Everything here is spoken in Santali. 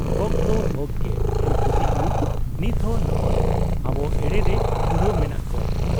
ᱦᱚᱠᱫᱚ ᱦᱚᱠ ᱜᱮ ᱾ ᱱᱩᱠᱩ ᱫᱤᱠᱩ ᱱᱤᱛᱦᱚᱸ ᱱᱚᱸᱜᱻᱚᱭ ᱟᱵᱚ ᱮᱲᱮᱨᱮ ᱫᱷᱩᱨᱟᱹᱣ ᱢᱮᱱᱟᱜ ᱠᱚᱣᱟ ᱾